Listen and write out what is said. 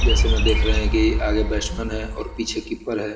जैसे में देख रहे है कि आगे बैट्समैन है और पीछे कीपर है।